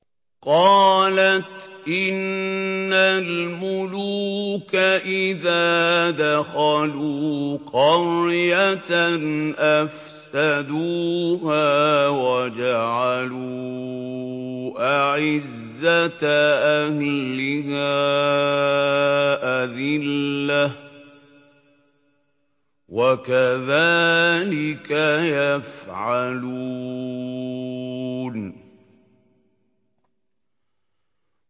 قَالَتْ إِنَّ الْمُلُوكَ إِذَا دَخَلُوا قَرْيَةً أَفْسَدُوهَا وَجَعَلُوا أَعِزَّةَ أَهْلِهَا أَذِلَّةً ۖ وَكَذَٰلِكَ يَفْعَلُونَ